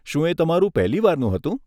શું એ તમારું પહેલી વારનું હતું?